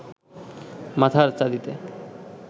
মাথার চাঁদিতে